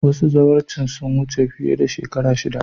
Wasu zawarcin sun wuce fiye da shekaru shida